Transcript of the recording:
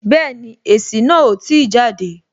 Bẹẹni, èsì náà o ti jade